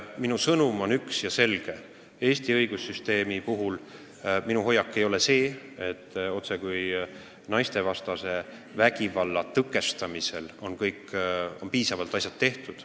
Minu sõnum on üks ja selge: mis puutub Eesti õigussüsteemi, siis minu hoiak ei ole selline, et naistevastase vägivalla tõkestamiseks on juba piisavalt tehtud.